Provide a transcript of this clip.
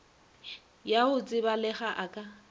ya go tsebalega a ka